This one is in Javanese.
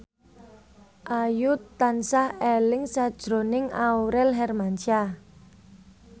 Ayu tansah eling sakjroning Aurel Hermansyah